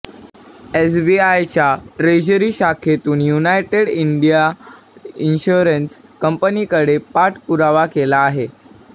एसबीआयच्या treasury शाखेतून united India insurance कंपनीकडे पाठ पुरावा केला आहे